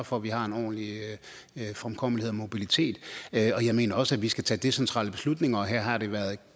for at vi har en ordentlig fremkommelighed og mobilitet jeg mener også at vi skal tage decentrale beslutninger og her har det været